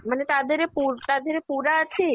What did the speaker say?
ମାନେ ତା ଧେରେ ପୁ ତା ଧେରେ ପୁରା ଅଛି?